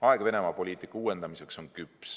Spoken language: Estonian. Aeg Venemaa poliitika uuendamiseks on küps.